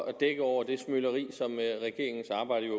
at dække over det smøleri som regeringens arbejde jo